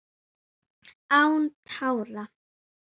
Án tára